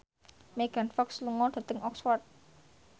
Megan Fox lunga dhateng Oxford